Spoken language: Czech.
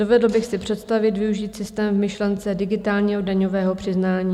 Dovedl bych si představit využít systém v myšlence digitálního daňového přiznání.